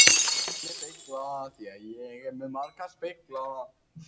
Drullugasti leikmaðurinn á mótinu í gær var Valgerður Kristjánsdóttir, Stelpunum.